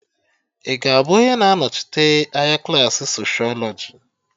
Ị ga-abụ onye na anochite anya klaasị socịọlọjị?